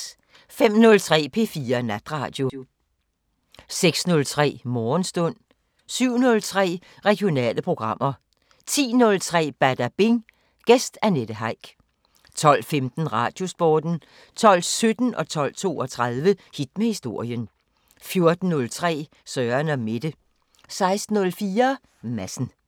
05:03: P4 Natradio 06:03: Morgenstund 07:03: Regionale programmer 10:03: Badabing: Gæst Annette Heick 12:15: Radiosporten 12:17: Hit med historien 12:32: Hit med historien 14:03: Søren & Mette 16:04: Madsen